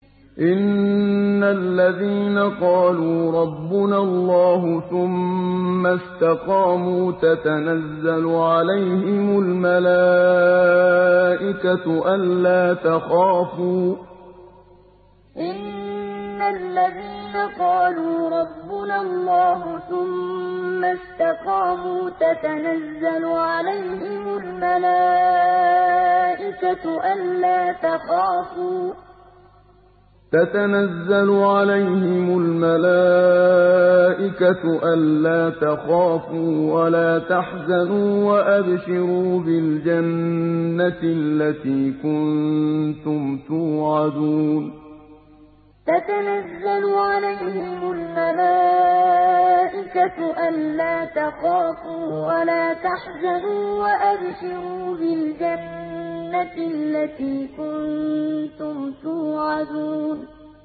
إِنَّ الَّذِينَ قَالُوا رَبُّنَا اللَّهُ ثُمَّ اسْتَقَامُوا تَتَنَزَّلُ عَلَيْهِمُ الْمَلَائِكَةُ أَلَّا تَخَافُوا وَلَا تَحْزَنُوا وَأَبْشِرُوا بِالْجَنَّةِ الَّتِي كُنتُمْ تُوعَدُونَ إِنَّ الَّذِينَ قَالُوا رَبُّنَا اللَّهُ ثُمَّ اسْتَقَامُوا تَتَنَزَّلُ عَلَيْهِمُ الْمَلَائِكَةُ أَلَّا تَخَافُوا وَلَا تَحْزَنُوا وَأَبْشِرُوا بِالْجَنَّةِ الَّتِي كُنتُمْ تُوعَدُونَ